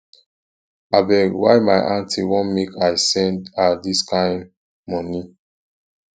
abeg why my aunty want make i send her dis kain moni